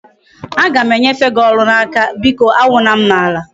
Aga m enyefe gi ọrụ a n'aka, biko awụla m n'ala